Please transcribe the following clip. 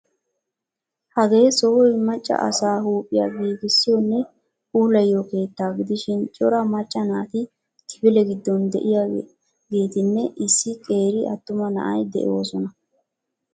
Hagee sohoy macca asaa huuphphiya giigissiyonne puulayiyo keettaa gidishin cora macca naati kifile giddon de'iyageeti nne issi qeeri attuma na'ay de'oosona.